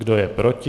Kdo je proti?